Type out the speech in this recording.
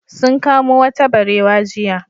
Sun kamo wata barewa jiya.